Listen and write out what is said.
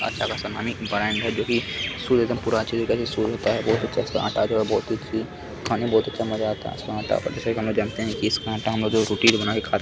अच्छा खासा नामी ब्रांड है जो की जो सूर्य होता है खाने में बहुत अच्छा मजा आता है इसका आटा इसका आटा हमलोग जो रोटी जो बना के खाते --